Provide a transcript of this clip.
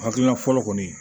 Hakilina fɔlɔ kɔni